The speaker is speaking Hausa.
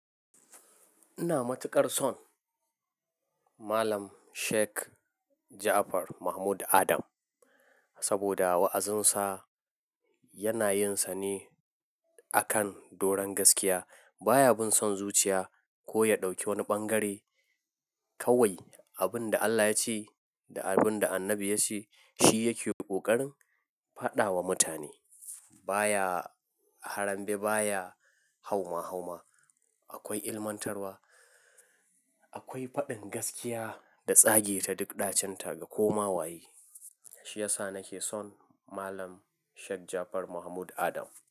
Ina matuƙar son Malam Sheikh Jaafar Mahmud Adam saboda wa'azinsa yana yinsa ne akan doron gaskiya. Ba ya bin son zuciya ko ya ɗauki wani ɓangare. Kawai abin da Allah ya ce da abin da Annabi ya ce, shi yake ƙoƙarin faɗa wa mutane. Ba ya harambe, ba ya hauma-hauma. Akwai ilmantarwa, akwai faɗin gaskiya da tsage ta duk ɗacinta ga koma waye. Shi yasa nake son Malam Sheikh Jaafar Mahmud Adam.